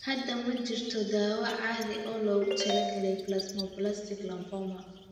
Hadda ma jirto daawayn caadi ah oo loogu talagalay plasmablastic lymphoma.